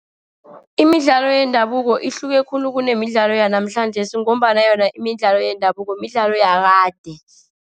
Imidlalo yendabuko ihluke khulu kunemidlalo yanamhlanjesi, ngombana yona imidlalo yendabuko, midlalo yakade.